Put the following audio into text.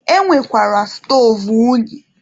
E nwekwara stoovu unyi.